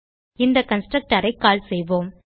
இந்த கன்ஸ்ட்ரக்டர் ஐ கால் செய்வோம்